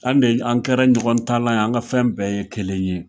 An de an kɛra ɲɔgɔn taalan ye, an ka fɛn bɛɛ ye kelen ye.